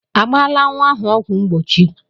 A gbala nwa ahụ ọgwụ mgbochi?